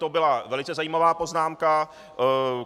To byla velice zajímavá poznámka.